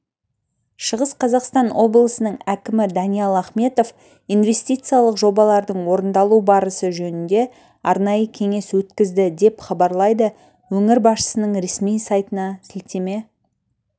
шығыс қазақстан облысының әкімі даниал ахметов инвестициялық жобалардың орындалу барысы жөнінде арнайы кеңес өткізді деп хабарлайды өңір басшысының ресми сайтына сілтеме